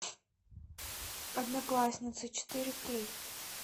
одноклассницы четыре кей